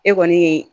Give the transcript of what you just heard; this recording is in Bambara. E kɔni ye